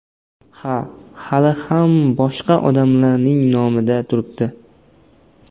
Ha, hali ham boshqa odamning nomida turibdi.